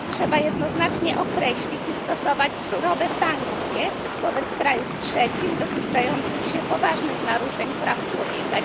Trzeba jednoznacznie określić i stosować surowe sankcje wobec krajów trzecich dopuszczających się poważnych naruszeń praw człowieka.